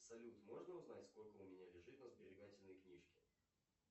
салют можно узнать сколько у меня лежит на сберегательной книжке